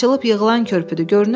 Bu açılıb-yığılan körpüdür.